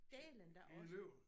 Dælen da også